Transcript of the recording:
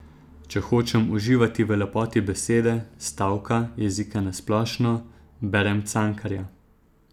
Če hočem uživati v lepoti besede, stavka, jezika na splošno, berem Cankarja.